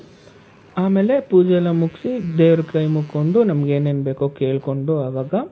ಆಮೇಲೆ ಪೂಜೆ ಎಲ್ಲಾ ಮುಗ್ಸಿ ದೇವರಿಗೆ ಕೈ ಮುಕ್ಕೊಂಡು ನಂಗೇನೇನ್ ಬೇಕು ಕೇಳ್ಕೊಂಡು ಆವಾಗ,